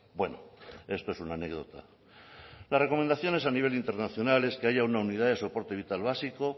bueno esto es una anécdota las recomendaciones a nivel internacional es que hay una unidad de soporte vital básico